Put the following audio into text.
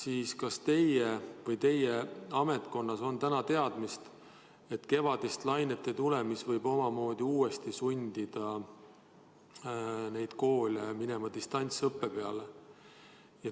Aga kas teie ametkonnas on täna teadmist, et meil ei tule kevadist lainet, mis võib uuesti sundida koole distantsõppele minema?